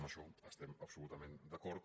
en això es·tem absolutament d’acord